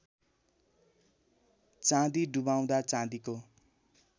चाँदी डुबाउँदा चाँदीको